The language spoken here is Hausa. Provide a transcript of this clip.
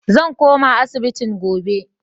Zan koma asibitin gobe.